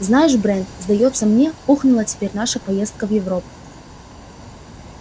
знаешь брент сдаётся мне ухнула теперь наша поездка в европу